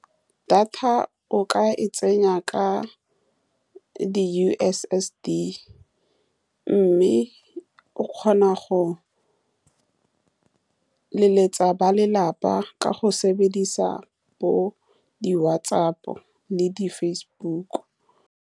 Data o ka e tsenya ka di-U_S_S_D, mme o kgona go leletsa ba lelapa ka go sebedisa bo di-WhatsApp le di-Facebook.